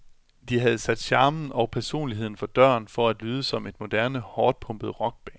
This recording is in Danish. De havde sat charmen og personligheden for døren for at lyde som et moderne, hårdtpumpet rockband.